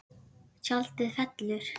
Tjaldið fellur.